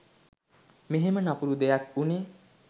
මෙහෙම නපුරු දෙයක් වුණේ